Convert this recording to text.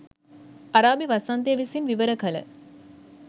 අරාබි වසන්තය විසින් විවර කළ